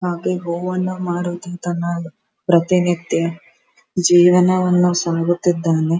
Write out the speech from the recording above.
ಹಾಗೆ ಹೂವನ್ನು ಮಾರುತ್ತ ತನ್ನ ಪ್ರತಿನಿತ್ಯ ಜೀವನ ಸಾಗಿಸುತ್ತಿದ್ದಾನೆ.